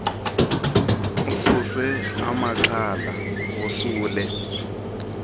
ususe amaxhala wosule